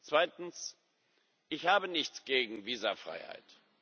Zweitens Ich habe nichts gegen Visafreiheit.